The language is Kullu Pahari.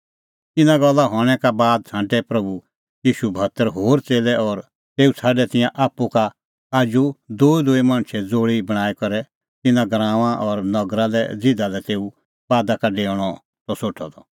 इना गल्ला हणैं का बाद छ़ांटै प्रभू ईशू भतर होर च़ेल्लै और तेऊ छ़ाडै तिंयां आप्पू का आजू दूईदूई मणछे ज़ोल़ी बणांईं करै तिन्नां गराऊंआं और नगरी लै ज़िधा लै तेऊ बादा का डेऊणअ त सोठअ द